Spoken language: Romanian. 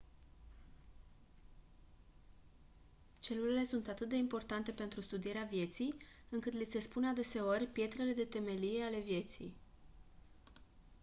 celulele sunt atât de importante pentru studierea vieții încât li se spune adeseori «pietrele de temelie ale vieții».